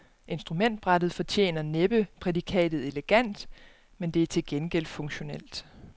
Instrumentbrættet fortjener næppe prædikatet elegant, men det er til gengæld funktionelt.